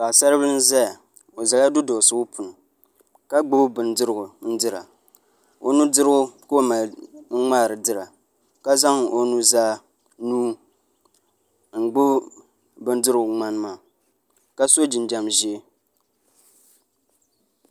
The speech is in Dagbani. Paɣasaribili n ʒɛya o ʒɛla duduɣuligu puuni ka gbubi bindirigu n dira o nudirigu ka o mali ŋmaari dira ka zaŋ o nuzaa nuu n gbubi bindirigu ŋmani maaka so jinjɛm ʒiɛ